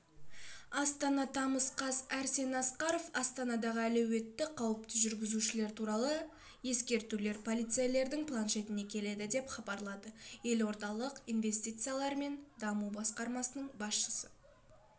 астана тамыза қаз арсен асқаров астанадағы әлеуетті қауіпті жүргізушілер туралы ескертулер полицейлердің планшетіне келеді деп хабарлады елордалық инвестициялар мен даму басқармасының басшысы